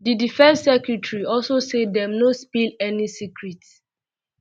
di defence secretary also say dem no um spill any secret